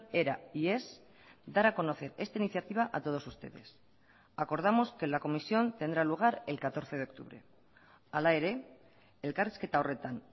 era y es dar a conocer esta iniciativa a todos ustedes acordamos que la comisión tendrá lugar el catorce de octubre hala ere elkarrizketa horretan